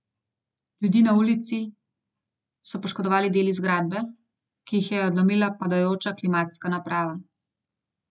Ljudi na ulici so poškodovali deli zgradbe, ki jih je odlomila padajoča klimatska naprava.